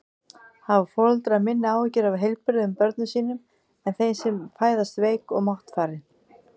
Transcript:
Hafa foreldrar minni áhyggjur af heilbrigðum börnum sínum en þeim sem fæðast veik og máttfarin?